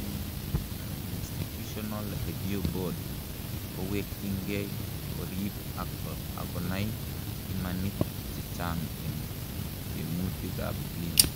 an institutional review board kowekyingei, korib ak akonai imanit chechang en tyemutik ab clinic